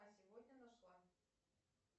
а сегодня нашла